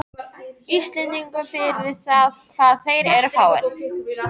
Íslendingum fyrir það hvað þeir eru fáir.